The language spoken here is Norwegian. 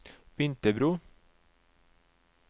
Vinterbro